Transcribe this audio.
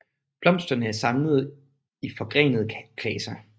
Blomsterne er samlet i forgrenede klaser